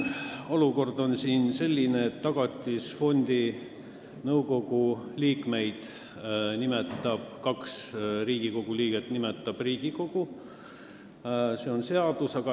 Olukord on selline, et kaks Tagatisfondi nõukogu liiget nimetab Riigikogu, nii näeb ette seadus.